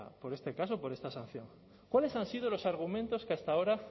por este caso por esta sanción cuáles han sido los argumentos que hasta ahora